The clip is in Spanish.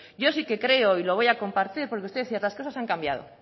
yo sí que creo y lo voy a compartir porque usted decía que las cosas han cambiado